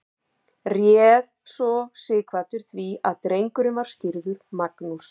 réð svo sighvatur því að drengurinn var skírður magnús